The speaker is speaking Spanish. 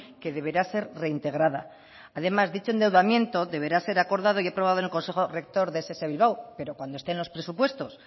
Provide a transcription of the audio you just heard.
que deberá ser reintegrada además dicho endeudamiento deberá ser acordado y aprobado en el consejo rector de ess bilbao pero cuando estén los presupuestos